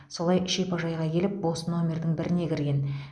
солай шипажайға келіп бос номердің біріне кірген